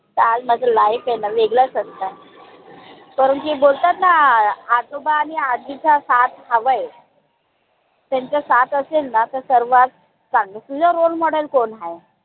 त आज माझं life आयन वेगळाच असता. बोलतात ना अं आजोबा आणि आजीचा साथ हवाय त्यांचा साथ असेल ना त सर्वात चांगलं. तुझा role model कोन हाय?